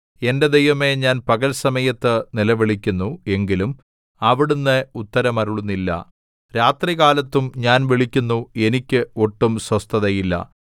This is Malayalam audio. എന്റെ ദൈവമേ ഞാൻ പകൽ സമയത്ത് നിലവിളിക്കുന്നു എങ്കിലും അവിടുന്ന് ഉത്തരമരുളുന്നില്ല രാത്രികാലത്തും ഞാൻ വിളിക്കുന്നു എനിക്ക് ഒട്ടും സ്വസ്ഥതയില്ല